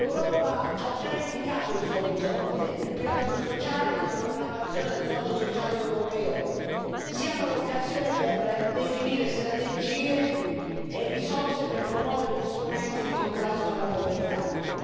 L'Europa ha già indicato il suo orizzonte, il pilastro sociale e la programmazione del Fondo sociale europeo siano l'occasione per definire strategie e risorse per promuovere gli strumenti di contrasto alla povertà.